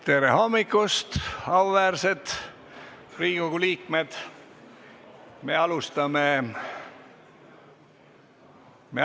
Tere hommikust, auväärsed Riigikogu liikmed!